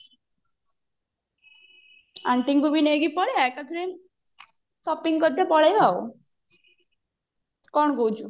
antiଙ୍କୁ ବି ନେଇକି ପଳେଇ ଆ ଏକାଥରେ shopping କରିଦେଇ ପଳେଇବା ଆଉ କଣ କହୁଛୁ